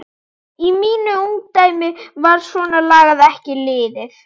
Í mínu ungdæmi var svona lagað ekki liðið.